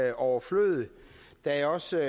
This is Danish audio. er overflødigt da jeg også